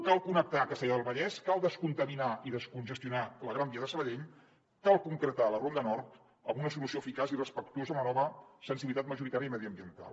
cal connectar castellar del vallès cal descontaminar i descongestionar la gran via de sabadell cal concretar la ronda nord amb una solució eficaç i respectuosa amb la nova sensibilitat majoritària i mediambiental